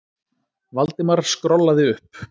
Valdimar skrollaði upp.